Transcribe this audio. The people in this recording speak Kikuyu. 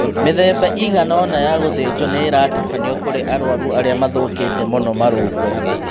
Mĩthemba ĩigana ona ya gũthĩnjwo nĩiratabanio kũrĩ arwaru arĩa mathũkĩte mũno marũngo